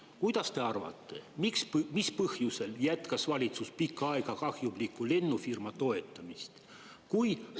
Kuidas te arvate, mis põhjusel jätkas valitsus pikka aega kahjumliku lennufirma toetamist?